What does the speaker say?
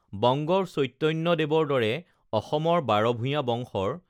বংগৰ চৈতন্য দেৱৰ দৰে অসমৰ বাৰভূঞা বংশৰ